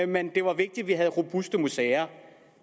men det var vigtigt at vi havde robuste museer